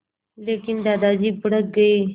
लेकिन दादाजी भड़क गए